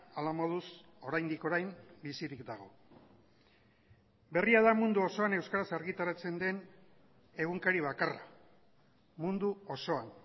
hala moduz oraindik orain bizirik dago berria da mundu osoan euskaraz argitaratzen den egunkari bakarra mundu osoan